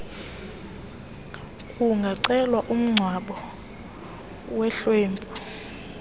kungacelwa umngcwabo wehlwempu